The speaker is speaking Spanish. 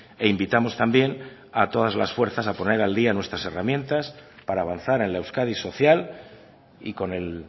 e invitamos también a todas las fuerzas a poner al día nuestras herramientas para avanzar en la euskadi social y con el